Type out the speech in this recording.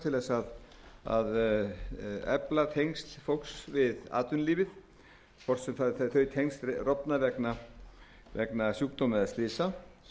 til þess að efla tengsl fólks við atvinnulífið hvort sem þau tengsl rofna vegna sjúkdóma eða slysa